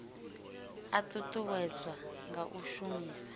a ṱuṱuwedzwa nga u shumisa